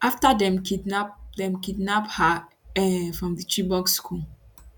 afta dem kidnap dem kidnap her um from di chibok school